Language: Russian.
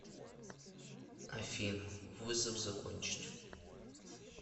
афина вызов закончить